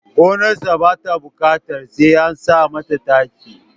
Gonarsa ba ta buƙatar sai an sa mata taki